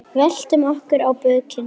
Veltum okkur á bökin.